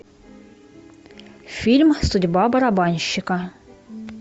фильм судьба барабанщика